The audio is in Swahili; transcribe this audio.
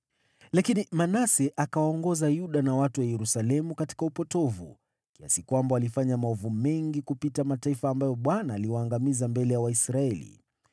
Lakini Manase akawaongoza Yuda na watu wa Yerusalemu katika upotovu, kiasi kwamba walifanya maovu mengi kuliko mataifa ambayo Bwana aliwaangamiza mbele ya Waisraeli.